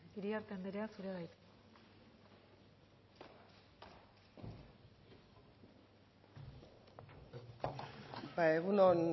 iriarte anderea zurea da hitza